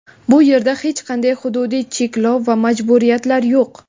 Bu yerda hech qanday hududiy cheklov va majburiyatlar yo‘q.